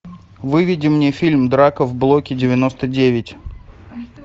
выведи мне фильм драка в блоке девяносто девять